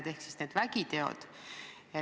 Ma pean silmas neid vägitegusid.